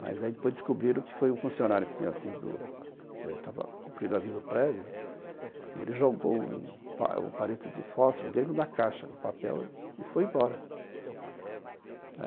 Mas aí depois descobriram que foi um funcionário que tinha sido eh... estava cumprindo aviso prévio e ele jogou um palito de fósforo dentro da caixa com papel e foi embora.